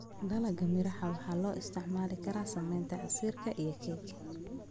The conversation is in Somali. Dalagga miraha waxaa loo isticmaali karaa sameynta casiir iyo keeg.